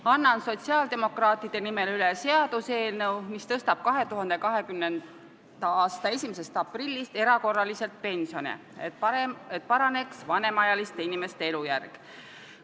Annan sotsiaaldemokraatide nimel üle seaduseelnõu, mis tõstab 2020. aasta 1. aprillist erakorraliselt pensione, et paraneks vanemaealiste inimeste elujärg.